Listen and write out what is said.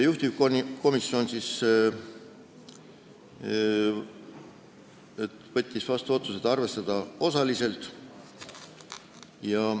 Juhtivkomisjon võttis vastu otsuse arvestada ettepanekut osaliselt.